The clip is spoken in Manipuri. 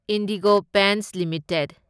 IndiGo Paints limited